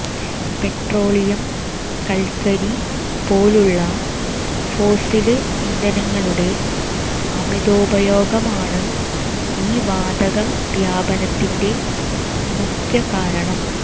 petroleum കല്ക്കരി പോലുള്ള fossil ഇന്ധനങ്ങളുടെ അമിതോപയോഗമാണ് ഈ വാതകവ്യാപനത്തിന്റെ മുഖ്യകാരണം